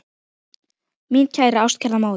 Mín kæra, ástkæra móðir.